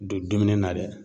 Don dumuni na dɛ.